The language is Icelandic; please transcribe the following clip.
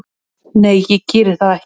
Nei, ég geri það ekki